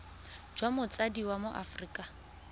jwa motsadi wa mo aforika